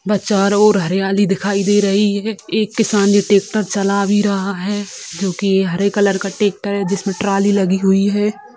बस चारो ओर ये हरियाली दिखाई दे रही है एक किसान ये ट्रैक्टर चला भी रहा है जोकि हरे कलर का ट्रैक्टर है जिसमें ट्रोली लगी हुई है।